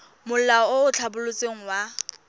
molao o o tlhabolotsweng wa